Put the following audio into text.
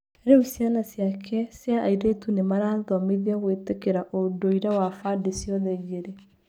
Rĩu ciana ciake cia airĩtu nĩ marathomithĩo gwĩtĩkĩra ũndũire wa bandĩ cĩothe igĩrĩ.